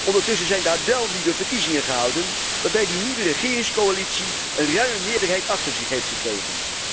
Ondertussen zijn daar wel nieuwe verkiezingen gehouden, waarbij de nieuwe regeringscoalitie een ruime meerderheid achter zich heeft gekregen.